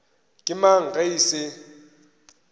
ke mang ge e se